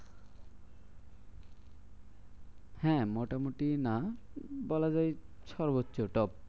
হ্যাঁ মোটামুটি না বলাযায় সর্বোচ্চ top.